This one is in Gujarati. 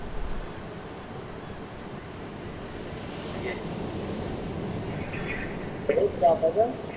બીજું કે તમે જ રાખો છો એમ